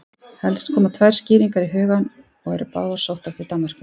Helst koma tvær skýringar í hugann og eru báðar sóttar til Danmerkur.